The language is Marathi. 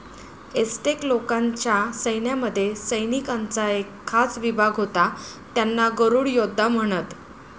एसटेक लोकांच्या सैन्यामध्ये सैनिकांचा एक खास विभाग होता, त्यांना गरुड योद्धा म्हणत.